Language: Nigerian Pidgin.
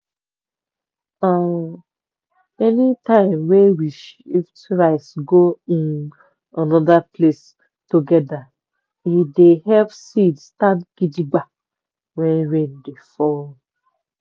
we dey always do turn by turn for de cassava sticks wey we share for every season go diefferent land.